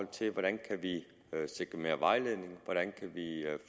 til hvordan vi kan sikre mere vejledning